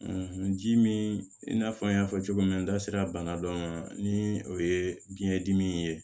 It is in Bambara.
ji min i n'a fɔ an y'a fɔ cogo min n da sera bana dɔ ma ni o ye biɲɛ dimi ye